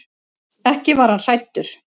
Ekki var hann hræddur.